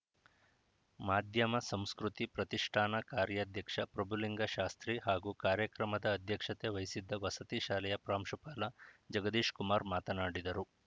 ಮಾಧ್ಯಮ ಸಂಸ್ಕೃತಿ ಪ್ರತಿಷ್ಠಾನ ಕಾರ್ಯಾಧ್ಯಕ್ಷ ಪ್ರಭುಲಿಂಗಶಾಸ್ತ್ರಿ ಹಾಗೂ ಕಾರ್ಯಕ್ರಮದ ಅಧ್ಯಕ್ಷತೆ ವಹಿಸಿದ್ದ ವಸತಿ ಶಾಲೆಯ ಪ್ರಾಂಶುಪಾಲ ಜಗದೀಶ್‌ಕುಮಾರ್‌ ಮಾತನಾಡಿದರು